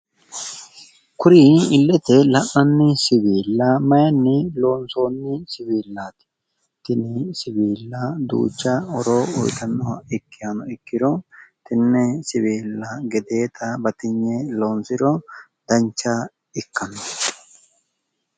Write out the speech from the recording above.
kuri illete la'nnanni siwiilla mayiinni loonsoonnni siwiillaati? ,tini siwiilla duucha horo uyiitannoha ikkihano ikkiro tenne gedeeta duucha batinye loonsiro dancha ikkanno.